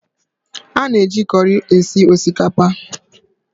A na-eji kọri esi osikapa